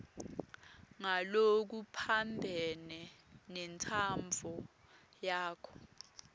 ngalokuphambene nentsandvo yakho